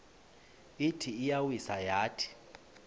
ithi iyawisa yathi